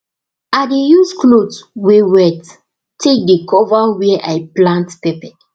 i dey use cloth wey wet take dey cover were i plant pepper